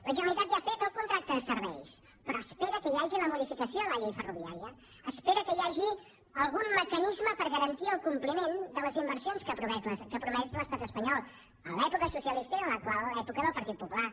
la generalitat ja ha fet el contracte de serveis però espera que hi hagi la modificació de la llei ferroviària espera que hi hagi algun mecanisme per garantir el compliment de les inversions que ha promès l’estat espanyol en l’època socialista i en l’actual època del partit popular